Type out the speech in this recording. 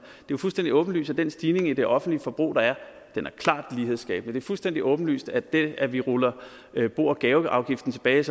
jo fuldstændig åbenlyst at den stigning i det offentlige forbrug der er er klart lighedsskabende det er fuldstændig åbenlyst at det at vi ruller bo og gaveafgiften tilbage